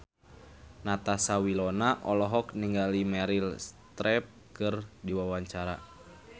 Natasha Wilona olohok ningali Meryl Streep keur diwawancara